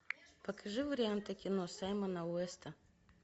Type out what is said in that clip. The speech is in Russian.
покажи варианты кино саймона уэста